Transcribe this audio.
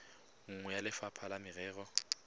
nngwe ya lefapha la merero